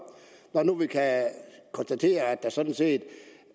når nu vi kan konstatere at der sådan set